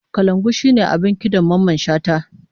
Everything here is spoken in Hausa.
Kalangu shine abin kidan Mamman Shata